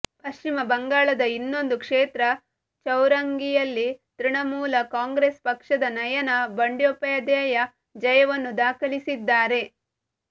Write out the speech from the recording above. ಪಶ್ಚಿಮ ಬಂಗಾಳದ ಇನ್ನೊಂದು ಕ್ಷೇತ್ರ ಚೌರಂಘಿಯಲ್ಲಿ ತೃಣಮೂಲ ಕಾಂಗ್ರೆಸ್ ಪಕ್ಷದ ನಯನಾ ಬಂಡ್ಯೋಪಧ್ಯಾಯ ಜಯವನ್ನು ದಾಖಲಿಸಿದ್ದಾರೆ